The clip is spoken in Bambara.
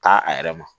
Taa a yɛrɛ ma